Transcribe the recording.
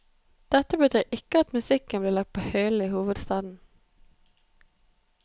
Dette betyr ikke at musikken blir lagt på hyllen i hovedstaden.